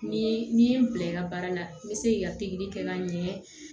Ni n'i ye n bila i ka baara la n bɛ se k'i ka pikiri kɛ ka ɲɛ